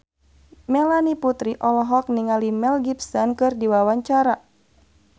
Melanie Putri olohok ningali Mel Gibson keur diwawancara